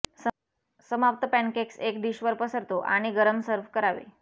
समाप्त पॅनकेक्स एक डिश वर पसरतो आणि गरम सर्व्ह करावे